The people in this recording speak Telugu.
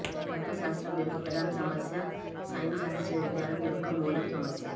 తత్వశాస్త్రం యొక్క ప్రధాన సమస్య సైన్స్ శాస్త్రీయ విజ్ఞానం యొక్క మూలం సమస్య